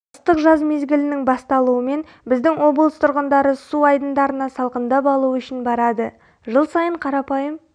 ыстық жаз мезгілінің бастылуымен біздің облыс тұрғындары су айдындарына салқындап алу үшін барады жыл сайын қарапайым